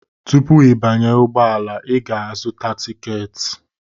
Tupu ịbanye ụgbọala, ị ga-azụta tiketi.